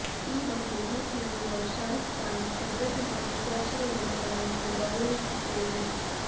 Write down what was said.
ಈ ಬಗ್ಗೆ ಟ್ವೀಟ್ ಮಾಡಿರುವ ಶಾರುಖ್ ಖಾನ್ ಭದ್ರತೆ ಹಾಗೂ ಸುರಕ್ಷತೆ ನಿಯಮಗಳನ್ನು ನಾನು ಗೌರವಿಸುತ್ತೇನೆ